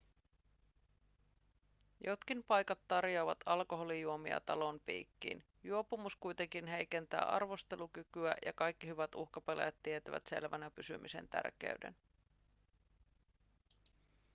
jotkin paikat tarjoavat alkoholijuomia talon piikkiin juopumus kuitenkin heikentää arvostelukykyä ja kaikki hyvät uhkapelaajat tietävät selvänä pysymisen tärkeyden